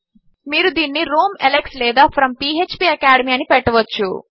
మీరు దీనిని Rome Alex లేదా ఫ్రోమ్ ఫ్పాకాడెమీ అని పెట్టవచ్చు